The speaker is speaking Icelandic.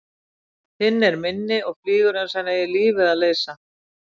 Hinn er minni og flýgur einsog hann eigi lífið að leysa.